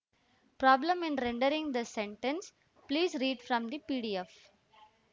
problem in rendering this sentence please read from the P D F